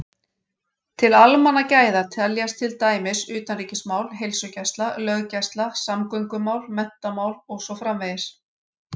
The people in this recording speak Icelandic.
Til almannagæða teljast til dæmis utanríkismál, heilsugæsla, löggæsla, samgöngumál, menntamál og svo framvegis.